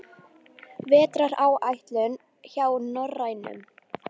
Vetraráætlun hjá Norrænu